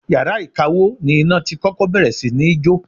Yàrá ìkawó ni iná tí kọ́kọ́ bẹ̀rẹ̀ sí ní jó.